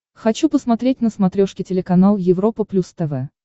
хочу посмотреть на смотрешке телеканал европа плюс тв